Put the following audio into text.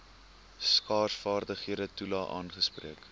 skaarsvaardighede toelae aangespreek